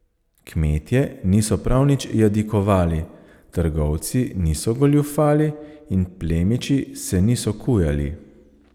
Kmetje niso prav nič jadikovali, trgovci niso goljufali in plemiči se niso kujali.